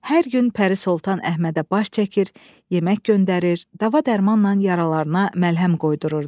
Hər gün Pəri Soltan Əhmədə baş çəkir, yemək göndərir, dava-dərmanla yaralarına məlhəm qoydururdu.